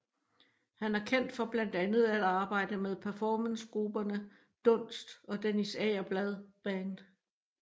Han er kendt for blandt andet at arbejde med performancegrupperne Dunst og Dennis Agerblad Band